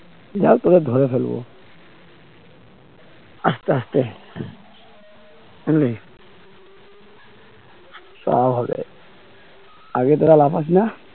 দেখ এবার ধরে ফেলবো আসতে আসতে বুঝলি সব হবে আগে থেকে লাফাইস না